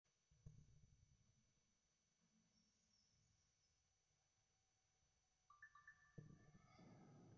miun ake nkaitubuu too nkolongi nemerisio(larin lemerisio)